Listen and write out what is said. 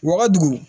Wa dugu